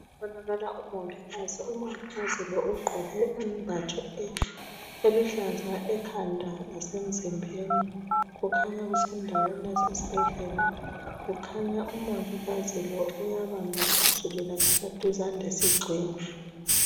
Kubonakala umongikazi umongikazi lo uqgoke izembatho eluhlaza ekhanda lasemzimbeni kukhanya kusendaweni yasesibhedlela kukhanya umongikazi ubamba phezulu laphana duze lesigxingi